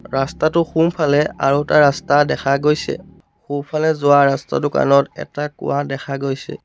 ৰাস্তাটোৰ সোঁফালে আৰু এটা ৰাস্তা দেখা গৈছে সোঁফালে যোৱা ৰাস্তাটোৰ কাণত আৰু এটা কুঁৱা দেখা গৈছে।